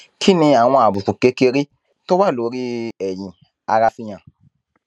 kí ni àwọn àbùkù kékeré tó wà lórí ẹyin ara fi hàn